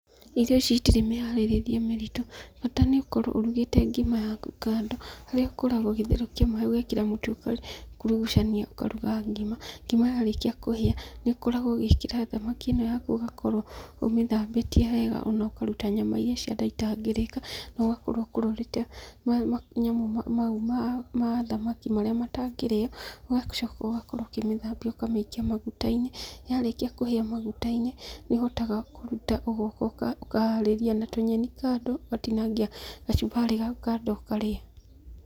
Irio ici itirĩ mĩharĩrĩrie mĩritũ, bata nĩ ũkorũo ũrugĩte ngima yaku kando. Harĩa ũkoragwo ũgĩtherũkia maĩ ũgekĩra mũtu ũgakurugucania ũkaruga ngima, ngima yarĩkia kũhĩa nĩ ũkoragũo ũgĩkĩra thamaki ĩno yaku ũgakorũo ũmĩthambĩtie wega na ũkaruta nyama cia nda itangĩrĩka, na ũgakorwo ũkũrũrĩte manyamũ mau ma thamaki marĩa matangĩrĩo, ũgacoka ũgakorũo ũkĩmĩthambia, ũkamĩikia maguta-inĩ, yarĩkia kũhĩa maguta-inĩ, nĩ ũhotaga kũruta ũgoka ũkaharĩria na tũnyeni kando, ũgatinangia gacumbarĩ gaku kando ũkarĩa.